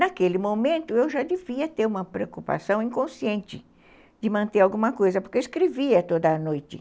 Naquele momento, eu já devia ter uma preocupação inconsciente de manter alguma coisa, porque eu escrevia toda noite.